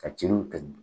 Ka celu kɛ